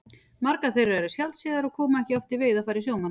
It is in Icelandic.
Margar þeirra eru sjaldséðar og koma ekki oft í veiðarfæri sjómanna.